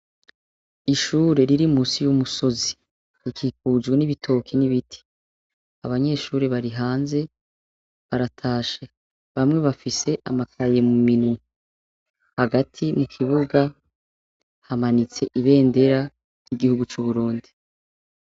Ishure riri munsi y'umusozi rikikujwe n'ibitoke n'ibiti, abanyeshure bari hanze baratashe, bamwe bafise amakaye muminwe. Hagati mukibuga hamanitse ibendera ry'igihugu c'Uburundi.